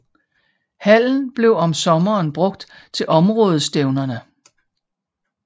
Hallen bliver om sommeren brugt til områdestævnerne